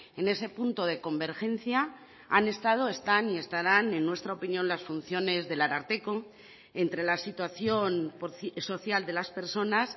en ese punto de convergencia han estado están y estarán en nuestra opinión las funciones del ararteko entre la situación social de las personas